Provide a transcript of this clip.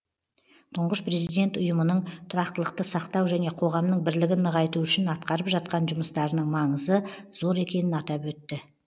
тұңғыш президент ұйымның тұрақтылықты сақтау және қоғамның бірлігін нығайту үшін атқарып жатқан жұмыстарының маңызы зор екенін атап өтті